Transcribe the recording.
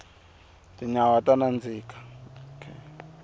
tinyawa ta nandzika